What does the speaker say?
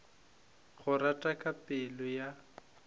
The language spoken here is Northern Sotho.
go rata ka pelo ya